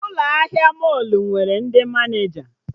Ụlọ ahịa mọlụ nwere ndị Maneja